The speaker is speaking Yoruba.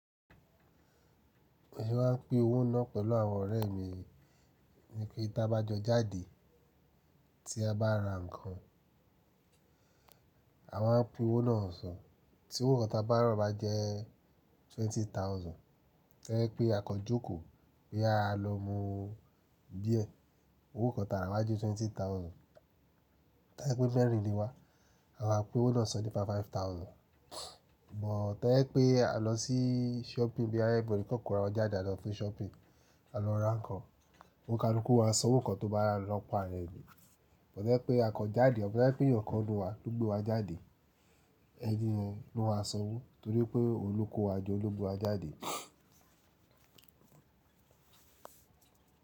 Èmi wá ń pín owó náà pẹ̀lú àwọn ọ̀rẹ́ mi ní pé tí a bá jọ jáde tí a bá ra nǹkan, a máa pín owó náà san. Tí owó kan bá rọ̀ bá jẹ́ twenty thousand, toyẹ́ pé a kọ jókòó pé a lọ mú beer, owó kan ta rà wá je twenty thousand. Tobẹ̀ pé mẹ́rin ni wa, a máa pín owó náà san nípa five five thousand. Bút tẹ́lẹ̀ pé a lọ sí shopping bí ẹ́ bori kòkòrò a jẹ́ jáde lọ fún shopping, a lọ ra nǹkan, òǹkaràkú wàá san owó kan tó bá lọ̀pọ̀ ara ẹni. Bọ́ tobẹ̀ pé a kọ́ jáde, bọ́ tobẹ̀ pé èèyàn kan nu wa ló gbé wa jádẹ, ẹni yẹn ló máa san owó torí pé oùnkó wa jo oun lo gbe wa jáde.